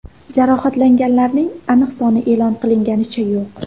Jarohatlanganlarning aniq soni e’lon qilinganicha yo‘q.